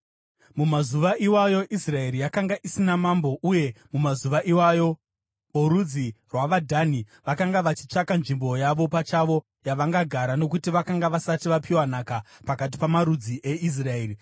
Mumazuva iwayo Israeri yakanga isina mambo. Uye mumazuva iwayo vorudzi rwavaDhani vakanga vachitsvaka nzvimbo yavo pachavo yavangagara, nokuti vakanga vasati vapiwa nhaka pakati pamarudzi eIsraeri.